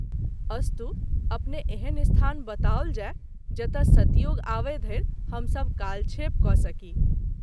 अस्तु अपने एहन स्थान बताओल जाय, जतय सत्ययुग आबय धरि हम सभ कालक्षेप क’ सकी।